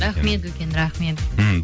рахмет үлкен рахмет мхм